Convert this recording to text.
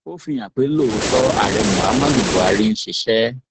ó fi hàn pé lóòótọ ààrẹ muhammadu buhari ń ṣiṣẹ